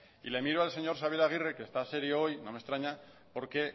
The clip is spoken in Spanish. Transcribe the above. y le miro al señor xabier aguirre que está serio hoy no me extraña porque